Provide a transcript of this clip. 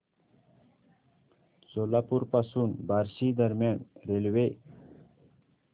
सोलापूर पासून बार्शी दरम्यान रेल्वे